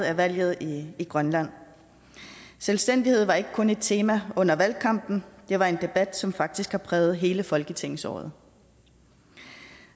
af valget i grønland selvstændighed var ikke kun et tema under valgkampen var en debat som faktisk har præget hele folketingsåret